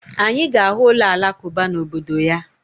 Anyị ga-ahụ ụlọ Alakụba na obodo ya